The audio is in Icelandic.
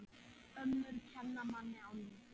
Ömmur kenna manni á lífið.